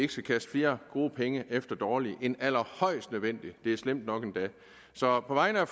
kaste flere gode penge efter dårlige end allerhøjst nødvendigt det er slemt nok endda så på vegne af